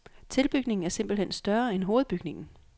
Tilbygningen er simpelt hen større end hovedbygningen.